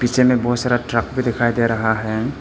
पीछे में बहुत सारा ट्रक भी दिखाई दे रहा है।